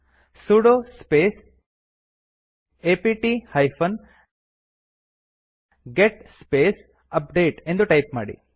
sudo space apt hyphen get space update ಎಂದು type ಮಾಡಿ